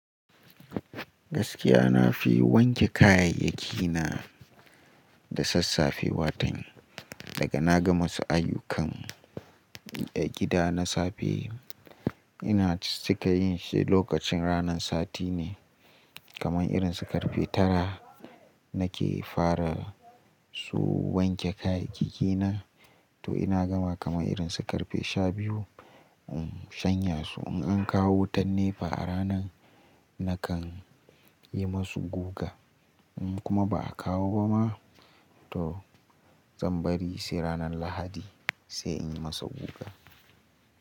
Gaskiya na fi wanke kayayyaki na da sassafe watan. Daga na gama su ayyukan da gida na safe ina cika yin shi lokacin ranan Sati ne. Kamar irin su karfe tara na ke fara su wanke kayayyaki na. To ina gama kamar irin su karfe shabiyu in shanya su. In an kawo wutan NEPA a ranan na kan yi masu guga. In kuma ba a kawo ba ma, to zan bari sai ranan Lahadi sai in yi masa guga.